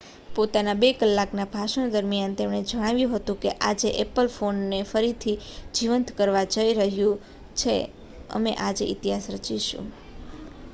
પોતાના 2 કલાકના ભાષણ દરમિયાન તેમણે જણાવ્યું હતું કે,'આજે એપલ ફોનને ફરીથી જીવંત કરવા જઈ રહ્યું છે અમે આજે ઇતિહાસ રચીશું.''